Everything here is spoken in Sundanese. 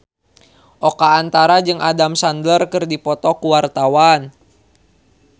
Oka Antara jeung Adam Sandler keur dipoto ku wartawan